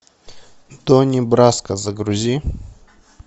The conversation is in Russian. донни браско загрузи